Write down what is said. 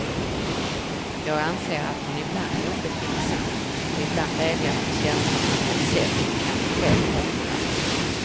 Jag anser, att hon ibland är obetänksam och ibland vädjar till känslorna på ett sätt hon kanske själv ångrar.